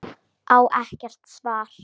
Á ekkert svar.